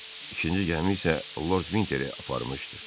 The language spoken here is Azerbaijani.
İkinci gəmi isə Lord Vinteri aparmışdı.